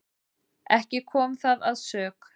Ekki kom það að sök.